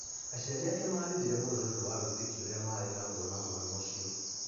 Aciari ake marĩrire mũno nĩ ũndũ wa wĩtkio ũrĩa marĩ naguo na mwana ũcio.